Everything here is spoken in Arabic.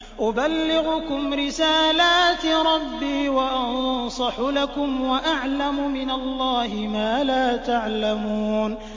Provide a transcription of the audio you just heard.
أُبَلِّغُكُمْ رِسَالَاتِ رَبِّي وَأَنصَحُ لَكُمْ وَأَعْلَمُ مِنَ اللَّهِ مَا لَا تَعْلَمُونَ